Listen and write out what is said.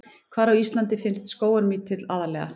Hvar á Íslandi finnst skógarmítill aðallega?